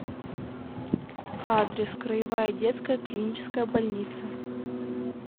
адрес краевая детская клиническая больница